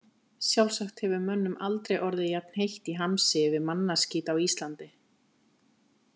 Sjálfsagt hefur mönnum aldrei orðið jafn heitt í hamsi yfir mannaskít á Íslandi.